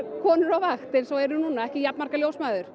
konur á vakt eins og er núna ekki jafn margar ljósmæður